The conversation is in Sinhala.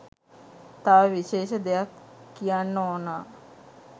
තව විශේෂ දෙයක් කියන්න ඕනා.